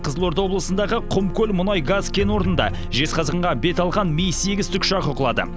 қызылорда облысындағы құмкөл мұнай газ кен орнында жезқазғанға бет алған ми сегіз тікұшағы құлады